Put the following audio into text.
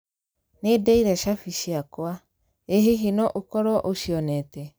Nĩ ndeire shabi ciakwa. Ĩ hihi no ũkorũo ũcioneete?